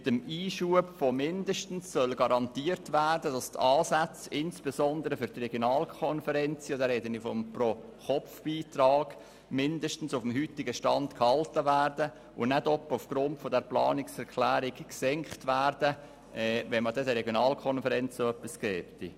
Mit dem Einschub von «mindestens» soll garantiert werden, dass die Ansätze insbesondere für die Regionalkonferenzen – hier spreche ich vom Pro-Kopf-Beitrag – mindestens auf dem heutigen Stand gehalten und nicht etwa aufgrund der Planungserklärung gesenkt werden, wenn den Regionalkonferenzen etwas gegeben würde.